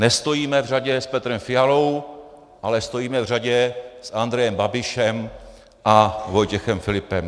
Nestojíme v řadě s Petrem Fialou, ale stojíme v řadě s Andrejem Babišem a Vojtěchem Filipem.